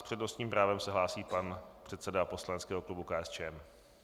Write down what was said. S přednostním právem se hlásí pan předseda poslaneckého klubu KSČM.